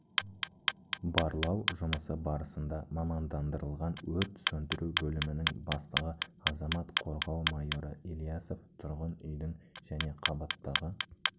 барлау жұмысы барысында мамандандырылған өрт сөндіру бөлімінің бастығы азаматтық қорғау майоры ілиясов тұрғын үйдің және қабаттағы